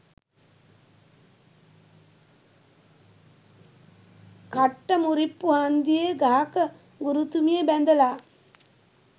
කට්ට මුරිප්පු හන්දියේ ගහක ගුරුතුමිය බැඳලා